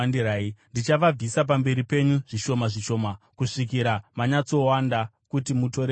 Ndichavabvisa pamberi penyu zvishoma zvishoma, kusvikira manyatsowanda kuti mutore nyika.